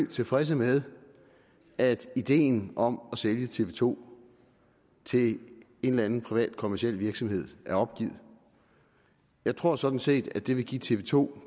tilfredse med at ideen om at sælge tv to til en eller anden privat kommerciel virksomhed er opgivet jeg tror sådan set at det vil give tv to